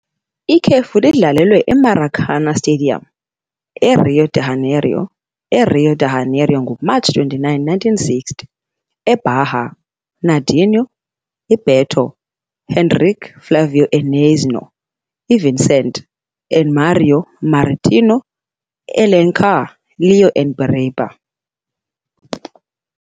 Ikhefu lidlalelwe eMaracanã Stadium, eRio de Janeiro, eRio de Janeiro, ngoMatshi 29, 1960. Bahia- Nadinho, Beto, Henrique, Flávio and Neizinho, Vicente and Mário, Marito, Alencar, Léo and Biriba.